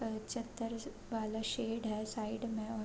वह चददर वाला सेड है साइड में--